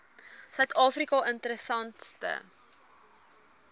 suid afrika interessante